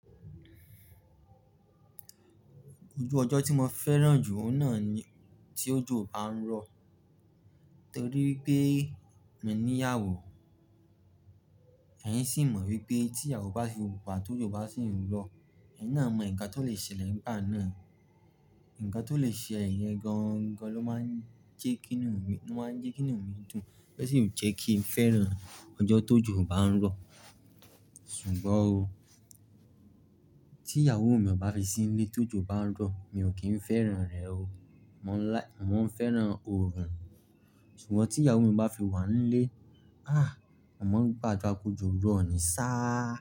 Ojú ọjọ́ tí mo fẹ́ràn jù òun náà ni tí òjò bá ń rọ̀ nítorí pé mi ní ìyàwó, ẹ́ yín sì mọ wípé tí ìyàwó bá fi wà tó òjò bá sì ń rọ̀, ẹyin náà mọ nǹkan tó lè ṣẹlẹ̀ nígbà náà. Ǹǹkan tó lè ṣẹ é yẹn gan-an gan-an ló máa ń jẹ́ kí inú mi, ló máa ń jẹ́ k kí inú mi dùn, bẹ́ẹ̀ o sì jẹ́ kí n fẹ́ràn ọjọ́ tó òjò bá ń rọ̀. Ṣùgbọ́n tí ìyàwó mi ò bá fi sílé tó òjò bá ń rọ̀, mi ò kí ń fẹ́ràn rẹ̀ o. Mò ń fẹ́ràn orun, ṣùgbọ́n tí ìyàwó mi bá fi wà nílé, àh! Mo maa n gabdura kójọ rọ̀ ni sá.